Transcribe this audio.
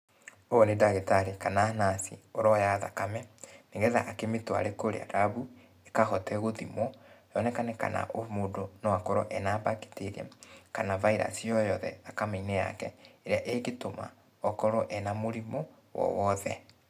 Ũyũ nĩ ndagĩtarĩ kana nurse , ũroya thakame, nĩgetha akĩmĩtware kũrĩa rambu, ĩkahote gũthimwo, yonekane kana o mũndũ no akorwo ena bacteria, kana virus o yothe thakame-inĩ yake , ĩrĩa ĩngĩtũma okorwo ena mũrimũ o wothe.